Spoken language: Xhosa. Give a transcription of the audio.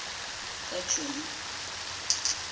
kajuni